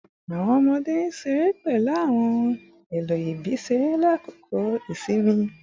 Awọn ọmọde n ṣere pẹlu awọn ohun elo ibi-iṣere lakoko isinmi